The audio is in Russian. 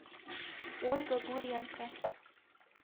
ольга гуренко